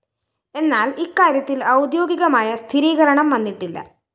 എന്നാല്‍ ഇക്കാര്യത്തില്‍ ഔദ്യോഗികമായ സ്ഥിരീകരണം വന്നിട്ടില്ല